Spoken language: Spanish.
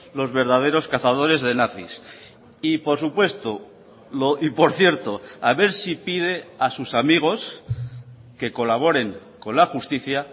los verdaderos cazadores de nazis y por supuesto y por cierto a ver si pide a sus amigos que colaboren con la justicia